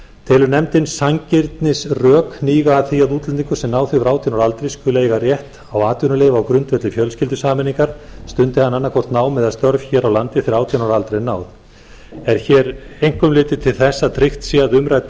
telur nefndin sanngirnisrök hníga að því að útlendingur sem náð hefur átján ára aldri skuli eiga rétt á atvinnuleyfi á grundvelli fjölskyldusameiningar stundi hann annaðhvort nám eða störf hér á landi þegar átján ára aldri er náð er hér einkum litið til þess að tryggt sé að